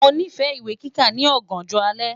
Mo nifẹ iwe kika ni ọganjọ alẹ